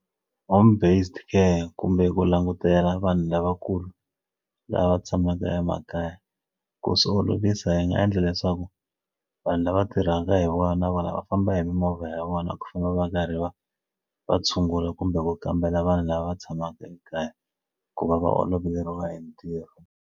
Home based care kumbe ku langutela vanhu lavakulu lava tshamaka emakaya ku swi olovisa hi nga endla leswaku vanhu lava ti rhanga hi wani na vona va famba hi mimovha ya vona ku famba va karhi va va tshungula kumbe ku kambela vanhu lava tshamaka ekaya ku va va oloveriwa hi ntirho.